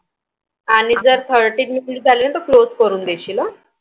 आणि Thirty minute झालं तर Close करून देशील हा